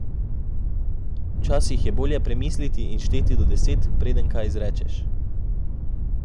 Včasih je bolje premisliti in šteti do deset, preden kaj izrečeš.